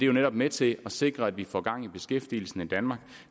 jo netop med til at sikre at vi får gang i beskæftigelsen i danmark